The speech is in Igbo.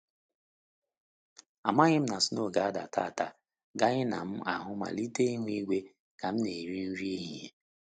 Amaghị m na snow ga-ada taata ganye na m ahụ mmelite ihu-igwe ka m na-eri nri ehihie